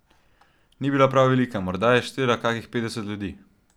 Ni bila prav velika, morda je štela kakih petdeset ljudi.